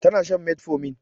Tana shan metformin